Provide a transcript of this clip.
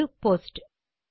அது போஸ்ட்